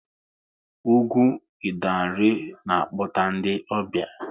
Ugwu Idanre na-akpọta ndị ọbịa